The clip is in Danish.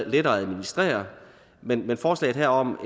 lettere at administrere men forslaget her om